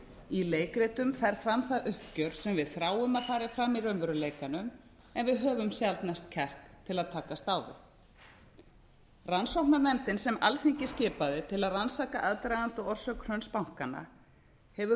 í leikritum fer fram það uppgjör sem við þráum að fari fram í raunveruleikanum en við höfum sjaldnast kjark til að takast á við rannsóknarnefndin sem alþingi skipaði til að rannsaka aðdraganda og orsök hruns bankanna hefur